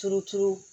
Turuturu